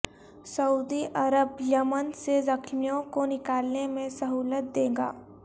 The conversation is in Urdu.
سعودی عرب یمن سے زخمیوں کو نکالنے میں سہولت دے گا